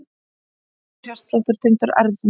Hægur hjartsláttur tengdur erfðum